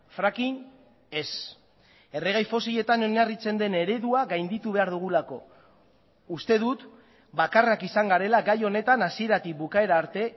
fracking ez erregai fosiletan oinarritzen den eredua gainditu behar dugulako uste dut bakarrak izan garela gai honetan hasieratik bukaera arte